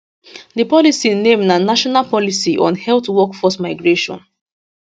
di policy name na national policy on health workforce migration